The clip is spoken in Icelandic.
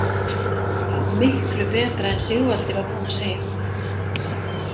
Það var miklu betra en Sigvaldi var búinn að segja.